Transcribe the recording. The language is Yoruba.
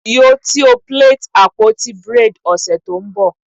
Yoo ti o plait apoti braids ọsẹ to nbo?